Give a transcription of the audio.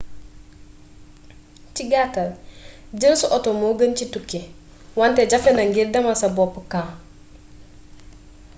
ci gattal dieul sa auto mo geun ci touki wanté jaféna ngir demal sa boop camp